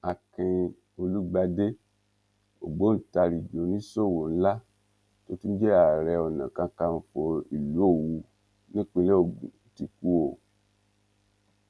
akin olùgbàdé ògbóǹtarigi oníṣòwò ńlá tó tún jẹ ààrẹ onakàkànfọ ìlú òwú nípínlẹ ogun ti kú o